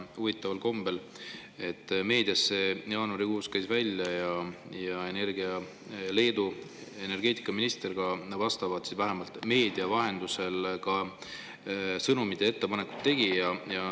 Huvitaval kombel käis meedia jaanuarikuus selle välja ja Leedu energeetikaminister vähemalt meedia vahendusel selle sõnumi andis ja ettepaneku tegi.